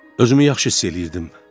Özümü yaxşı hiss eləyirdim.